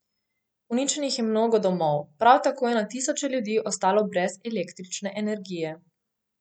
Uničenih je mnogo domov, prav tako je na tisoče ljudi ostalo brez električne energije.